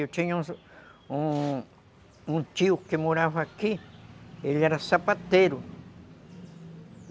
Eu tinha um, um tio que morava aqui, ele era sapateiro.